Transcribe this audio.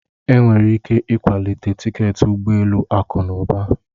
Enwere ike ịkwalite tiketi ụgbọ elu akụ na ụba.